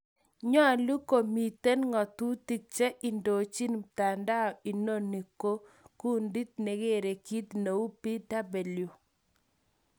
Nyolu komiten ngatutik che indojin mtandao inoni ko kundit negere kit neu" BW.